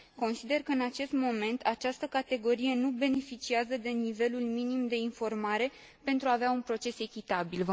Consider că, în acest moment, această categorie nu beneficiază de nivelul minim de informare pentru a avea un proces echitabil.